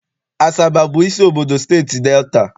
Asaba bụ isi obodo Steeti Delta.